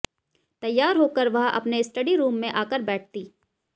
तैयार होकर वह अपने स्टडी रूम में आकर बैठती